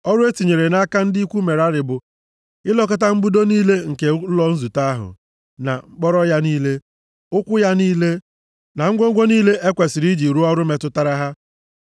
Ọrụ e tinyere nʼaka ndị ikwu Merari bụ ilekọta mbudo niile nke ụlọ nzute ahụ, na mkpọrọ ya niile, ụkwụ ya niile, na ngwongwo niile e kwesiri iji rụọ ọrụ metụtara ha.